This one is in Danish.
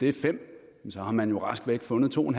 er fem har man jo rask væk fundet to